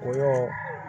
O y'o